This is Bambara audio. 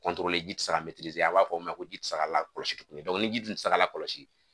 ji tɛ se ka a b'a fɔ o ma ko ji tɛ se ka lakɔlɔsi ni ji tɛ se ka lakɔlɔsi